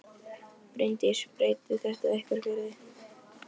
Bryndís: Breytir þetta einhverju fyrir þig?